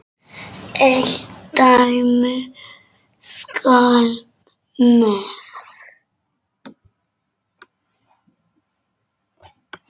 Eitt dæmi skal nefnt.